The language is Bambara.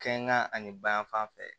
Kɛ kan ani bayanfan fɛ